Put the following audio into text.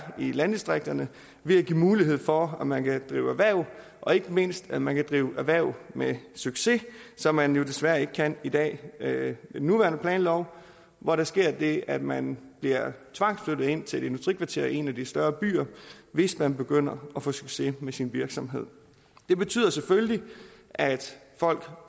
i landdistrikterne ved at give mulighed for at man kan drive erhverv og ikke mindst at man kan drive erhverv med succes som man jo desværre ikke kan i dag med den nuværende planlov hvor der sker det at man bliver tvangsflyttet ind til et industrikvarter i en af de større byer hvis man begynder at få succes med sin virksomhed det betyder selvfølgelig at folk